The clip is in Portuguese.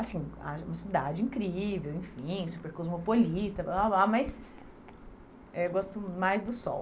Assim, acho é uma cidade incrível, enfim, super cosmopolita blá blá blá, mas eu gosto mais do sol.